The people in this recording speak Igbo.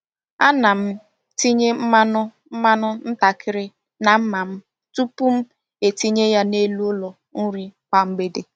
A na m tinye mmanụ mmanụ ntakịrị na mma m tupu m etinye ya n’elu ụlọ nri kwa mgbede.